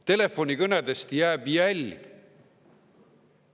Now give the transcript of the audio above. Telefonikõnedest jääb jälg.